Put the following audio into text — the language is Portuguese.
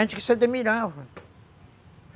Antes você.